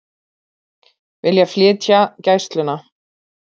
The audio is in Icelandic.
Vilja flytja Gæsluna